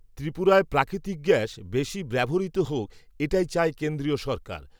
ত্রিপুরায় প্রাকৃতিক গ্যাস, বেশি ব্যবহৃত হোক, এটাই চায় কেন্দ্রীয় সরকার